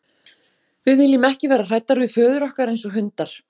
Við viljum ekki vera hræddar við föður okkar eins og hundar.